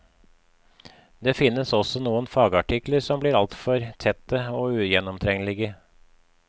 Det finnes også noen fagartikler som blir altfor tette og ugjennomtrengelige.